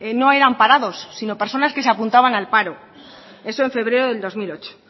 no eran parados sino personas que se apuntaban al paro eso en febrero de dos mil ocho